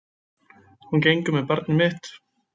Hún gengur með barn mitt.